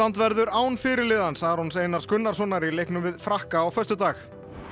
verður án fyrirliðans Arons Einars Gunnarssonar í leiknum við Frakka á föstudag